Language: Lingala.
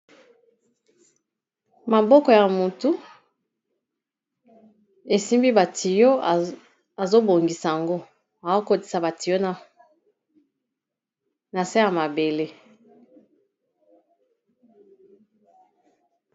Maboko ya motu esimbi ba tuyau azobongisa yango azokotisa ba tuyau na se ya mabele.